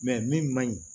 min man ɲi